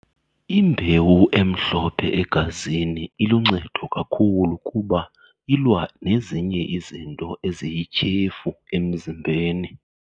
Imbewu emhlophe egazini iluncedo kakhulu kuba ilwa nezinye izinto eziyityhefu emzimbeni.